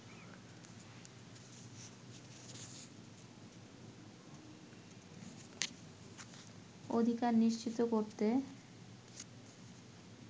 অধিকার নিশ্চিত করতে